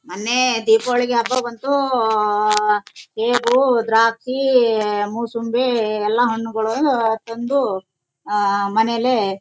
ಮೊನ್ನೆ ದೀಪಾವಳಿಗೆ ಹಬ್ಬ ಬಂತು ಉಓಓಓಓ ಸೇಬು ದ್ರಾಕ್ಷಿ ಇಇಇಇ ಹೀಏಏಏ ಈ ಎಲ್ಲ ಹಣ್ಣುಗಳು ತಂದು ಮನೇಲಿ--